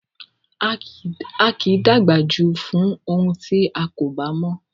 A kì í dàgbà jù fún ohun tí a kò bá mọ̀